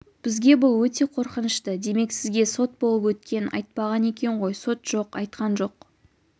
бізге бұл өте қрқынышты демек сізге сот болып өткенін айтпаған екен ғой сот жоқ айтқан жоқ